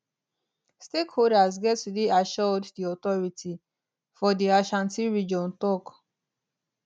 stakeholders get to dey assured di authority for di ashanti region tok